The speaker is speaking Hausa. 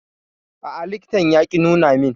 A'a, likitan ya ƙi nuna min.